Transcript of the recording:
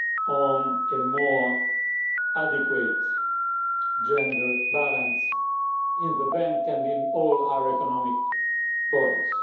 to a more adequate gender balance in the Bank and in all our economic bodies.